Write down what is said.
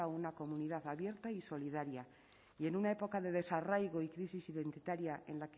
una comunidad abierta y solidaria y en una época de desarraigo y crisis identitaria en